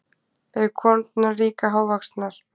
Eru konurnar líka hávaxnar?